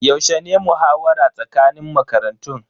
Yaushe ne muhawara tsakanin makarantun?